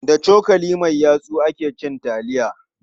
Da cokali mai yatsu ake cin taliya.